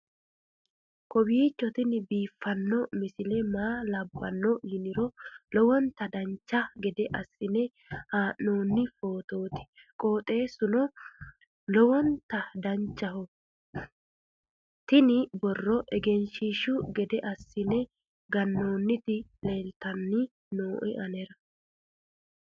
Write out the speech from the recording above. kowiicho tini biiffanno misile maa labbanno yiniro lowonta dancha gede assine haa'noonni foototi qoxeessuno lowonta danachaho. tini borro egenshshiishu gede assine gannoonniti leeltanni nooe anera